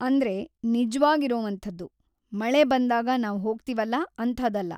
ಅಂದ್ರೆ ನಿಜ್ವಾಗಿರೊವಂಥದ್ದು, ಮಳೆಬಂದಾಗ ನಾವ್‌ ಹೋಗ್ತೀವಲ್ಲ ಅಂಥಾದಲ್ಲ.